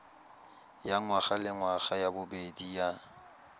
ya ngwagalengwaga ya bobedi ya